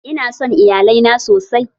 Ina son Iyalai na sosai.